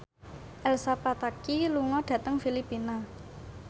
Elsa Pataky lunga dhateng Filipina